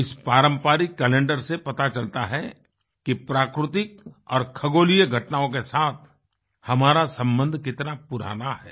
इस पारंपरिक कैलेंडरसे पता चलता है कि प्राकृतिक और खगोलीय घटनाओं के साथ हमारा संबंध कितना पुराना है